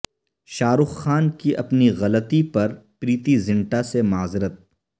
شاہ رخ خان کی اپنی غلطی پر پریتی زنٹا سے معذرت